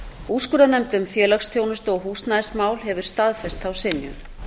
úrskurðarnefnd um félagsþjónustu og húsnæðismál hefur staðfest þá synjun